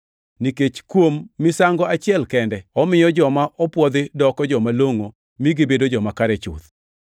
nikech kuom misango achiel kende, omiyo joma opwodhi odoko joma longʼo mi gibedo joma kare chuth.